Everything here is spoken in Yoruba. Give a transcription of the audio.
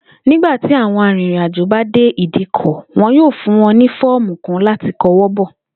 Nígbà tí àwo̩n arìnrìnàjò bá dé ìdíkò̩, wo̩n yóò fún wo̩n ní fó̩ò̩mu kan láti ko̩wó̩ bò̩